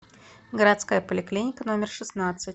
городская поликлиника номер шестнадцать